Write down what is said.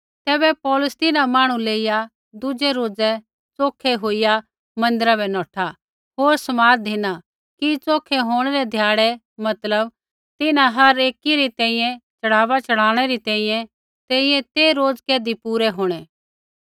तैबै पौलुस तिन्हां मांहणु लेइया दुज़ै रोज़ै च़ोखै होईया मन्दिरा बै नौठा होर समाद धिना कि च़ोखै होंणै रै ध्याड़ै मतलब तिन्हां हर एकी री तैंईंयैं च़ढ़ावा च़ढ़ाइणै तैंईंयैं रै रोज़ कैधी पूरै होंणै